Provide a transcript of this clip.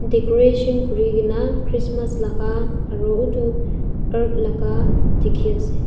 decoration kuri kina christmas laka aro utu laka dikhi ase.